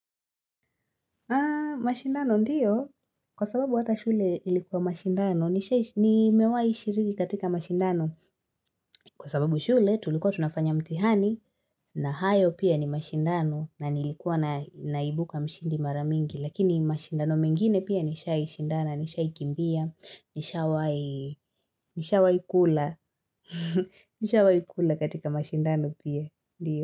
Haa mashindano ndiyo kwa sababu hata shule ilikuwa mashindano ni mewahi shiriki katika mashindano kwa sababu shule tulikuwa tunafanya mtihani na hayo pia ni mashindano na nilikuwa naibuka mshindi mara mingi lakini mashindano mengine pia nishaishindana nishaikimbia nishawahikula nishai kula katika mashindano pia ndiyo.